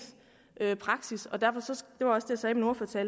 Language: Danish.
praksis og derfor